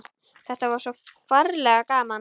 Þetta er svo ferlega gaman.